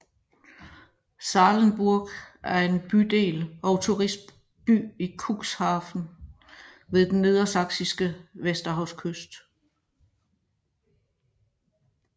Sahlenburg er en bydel og turistby i Cuxhaven ved den nedersaksiske Vesterhavskyst